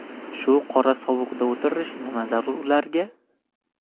Shu qorasovuqda o‘tirish nima zarur ularga?